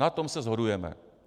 Na tom se shodujeme.